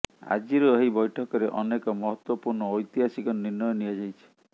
ଆଜିର ଏହି ବୈଠକରେ ଅନେକ ମହତ୍ବପୂର୍ଣ୍ଣ ଐତିହାସିକ ନିର୍ଣ୍ଣୟ ନିଆଯାଇଛି